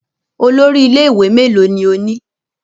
Olórí ilé-ìwé mélòó ni ó ní?